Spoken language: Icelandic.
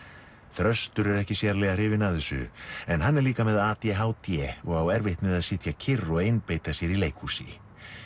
þröstur er ekki sérlega hrifinn af þessu en hann er líka með a d h d og á erfitt með að sitja kyrr og einbeita sér í leikhúsi